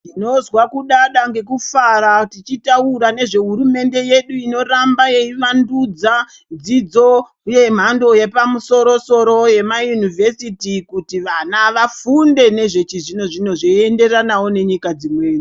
Ndinonzwa kudada nekufara tichitaura nezvehurumende yedu inoramba yeivandudza dzidzo yemhando yepamusoro soro yema yunivhesiti kuti vana vafunde nezve chizvino zvino zveinderanawo nenyika dzimweni.